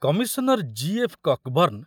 Commissioner G F. କକ୍‌ବର୍ଣ୍ଣ